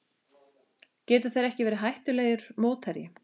Geta þeir ekki verið hættulegur mótherji?